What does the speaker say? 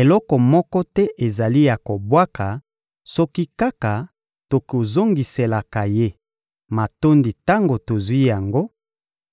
eloko moko te ezali ya kobwaka soki kaka tokozongiselaka Ye matondi tango tozwi yango,